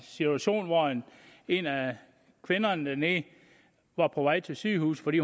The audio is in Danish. situation hvor en af kvinderne dernede var på vej til sygehuset i